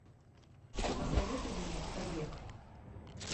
посоветуй мне побег